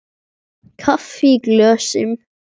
Kaffi í glösum.